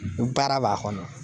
Baara b'a kɔnɔ.